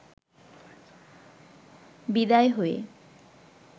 বিদায় হয়ে